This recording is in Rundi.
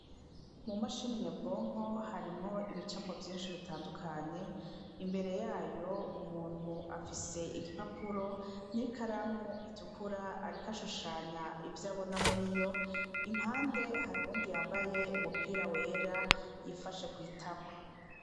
Mu mashini nyebwonko harimwo ibicapo vyinshi bitandukanye imbere yayo umuntu afise igipapuro n'ikaramu itukura arikashushanya ivyo abona muri yo impande hari undi yambaye umupira wera yifashe kwitama.